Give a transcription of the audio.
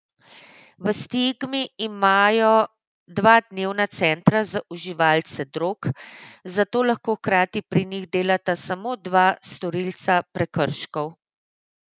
V Stigmi imajo dva dnevna centra za uživalce drog, zato lahko hkrati pri njih delata samo dva storilca prekrškov.